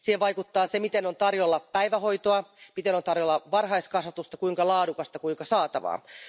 Siihen vaikuttaa se, miten on tarjolla päivähoitoa, miten on tarjolla varhaiskasvatusta, kuinka laadukasta, kuinka saatavilla olevaa.